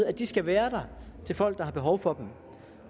at de skal være der til folk der har behov for dem